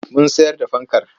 Mun sayar da fankar.